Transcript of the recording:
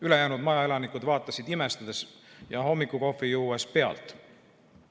Ülejäänud majaelanikud vaatasid imestades ja hommikukohvi juues pealt.